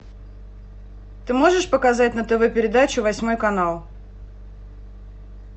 ты можешь показать на тв передачу восьмой канал